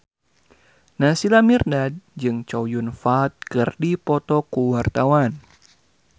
Naysila Mirdad jeung Chow Yun Fat keur dipoto ku wartawan